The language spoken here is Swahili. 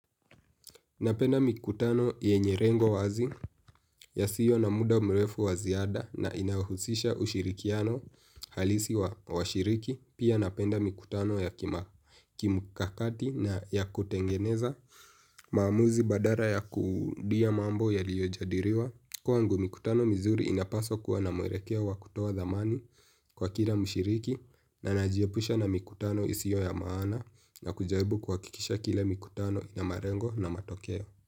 Napenda mikutano yenye rengo wazi ya siyo na muda mrefu waziada na inayo husisha ushirikiano halisi wa washiriki. Pia napenda mikutano ya kimkakati na ya kutengeneza maamuzi badala ya kurudia mambo ya liyo jadiriwa. Kwangu mikutano mizuri inapaswa kuwa na mwelekea wa kutoa dhamani kwa kila mshiriki na najiepusha na mikutano isiyo ya maana na kujaribu kuhakikisha kila mikutano inamalengo na matokeo.